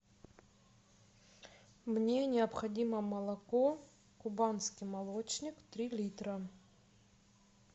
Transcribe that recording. мне необходимо молоко кубанский молочник три литра